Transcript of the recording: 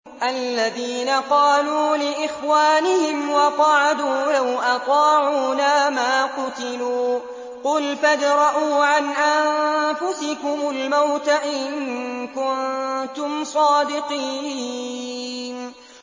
الَّذِينَ قَالُوا لِإِخْوَانِهِمْ وَقَعَدُوا لَوْ أَطَاعُونَا مَا قُتِلُوا ۗ قُلْ فَادْرَءُوا عَنْ أَنفُسِكُمُ الْمَوْتَ إِن كُنتُمْ صَادِقِينَ